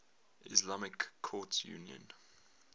islamic courts union